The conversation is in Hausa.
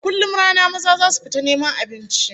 A kullum rana maza zasu fita neman abinci